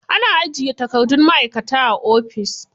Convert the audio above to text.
Ana ajiye takardun ma'aikata a ofis.